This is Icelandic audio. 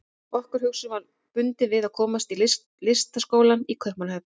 Okkar hugsun var bundin við að komast í Listaskólann í Kaupmannahöfn.